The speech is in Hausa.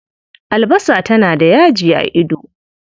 Albasa tana da yaji a ido.